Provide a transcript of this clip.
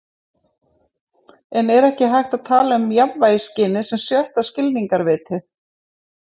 En er ekki hægt að tala um jafnvægisskynið sem sjötta skilningarvitið?